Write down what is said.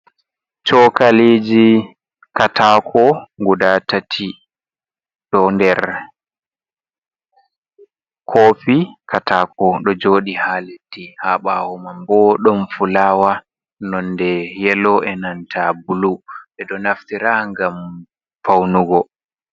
Cookaliji kaataako gudaa tati ɗo nder koofi kaataako, ɗo jooɗi haa leddi haa ɓaawo man boo ɗon fulaawa nonde yelo e nanta bulu ɓe ɗo naftira ngam fawnugo.